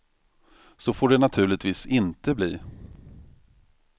Så får det naturligtvis inte bli.